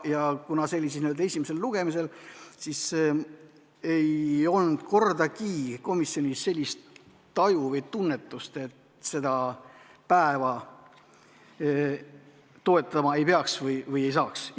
See eelnõu oli n-ö esimesel lugemisel ja ei olnud kordagi komisjonis sellist taju või tunnetust, et seda päeva toetama ei peaks või toetada ei saaks.